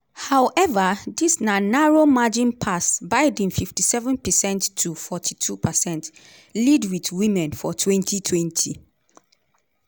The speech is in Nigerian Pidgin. howeva dis na narrow margin pass biden 57 percent to 42 percent lead wit women for 2020.